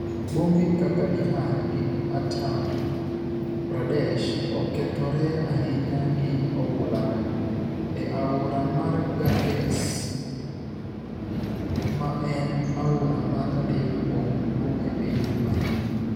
Bombe kaka Bihar gi Uttar Pradesh okethore ahinya gi oula no, e aora mar Ganges ma en aora mar adek kuom duong' e piny mangima.